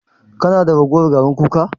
Kana da ragowar garin kuka?